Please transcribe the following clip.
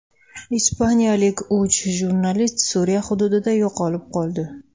Ispaniyalik uch jurnalist Suriya hududida yo‘qolib qoldi.